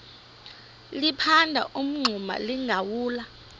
liphanda umngxuma lingawulali